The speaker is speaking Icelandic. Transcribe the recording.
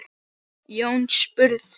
Jón spurði